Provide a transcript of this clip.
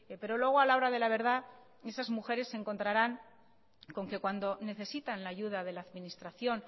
pero luego a la hora de la verdad esas mujeres se encontrarán con que cuando necesitan la ayuda de la administración